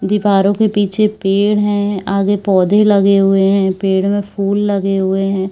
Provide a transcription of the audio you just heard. दीवारों के पीछे पेड़ हैं आगे पौधे लगे हुएं हैं पेड़ में फुल लगे हुए हैं ।